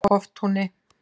Hoftúni